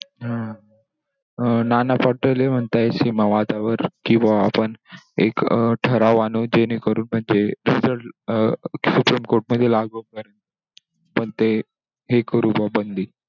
हम्म! नाना पटोले म्हणताय सीमा वादावर कि बॉ आपण एक ठराव आणू जेणेकरून म्हणजे ते शिक्षण मध्ये लागू होईल आणि हे करू बॉ बंदी.